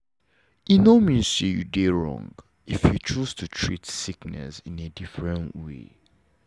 e know mean say you dey wrong if you choose to treat sickness in a different way